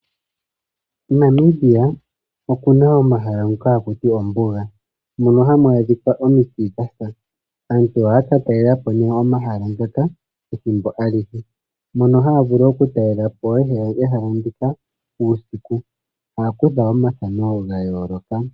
Namibia okuna omahala ngoka haku tiwa ombuga mono hamu adhika omiti dhasa. Aantu ohaya kala talelepo nee omahala ngaka ethimbo alihe mono haya vulu okutalela po ehala ndika uusiku taya kutha omathano ga yooloka.